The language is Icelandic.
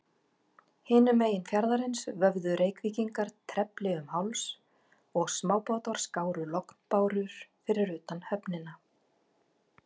Hinum megin fjarðarins vöfðu Reykvíkingar trefli um háls, og smábátar skáru lognbárur fyrir utan höfnina.